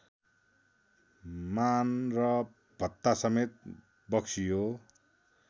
मान र भत्तासमेत बक्सियो